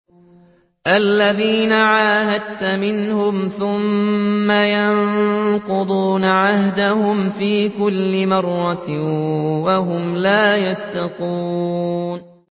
الَّذِينَ عَاهَدتَّ مِنْهُمْ ثُمَّ يَنقُضُونَ عَهْدَهُمْ فِي كُلِّ مَرَّةٍ وَهُمْ لَا يَتَّقُونَ